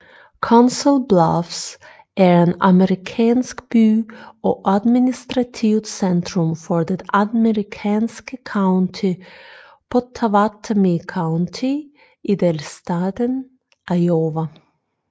Council Bluffs er en amerikansk by og administrativt centrum for det amerikanske county Pottawattamie County i delstaten Iowa